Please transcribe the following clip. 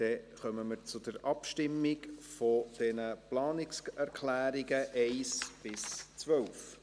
Dann kommen wir zur Abstimmung über die Planungserklärungen 1–12.